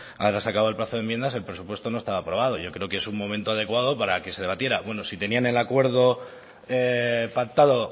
ahora se ha acabado el plazo de enmiendas el presupuesto no estaba aprobado yo creo que es un momento adecuado para que se debatiera bueno si tenían el acuerdo pactado